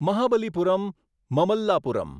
Mahabalipuram Mamallapuram